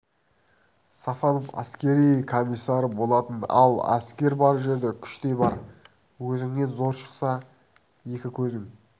сафонов әскер комиссары болатын ал әскер бар жерде күш те бар өзіңнен зор шықса екі көзің